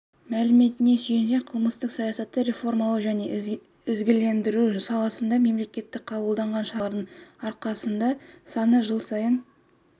мәліметіне сүйенсек қылмыстық саясатты реформалау және ізгілендіру саласында мемлекет қабылдаған шаралардың арқасында тұтқындар саны жыл сайын